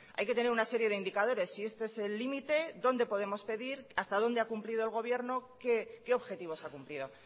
hay que tener una serie de indicadores si este es el límite dónde podemos pedir hasta dónde ha cumplido el gobierno y qué objetivos ha cumplido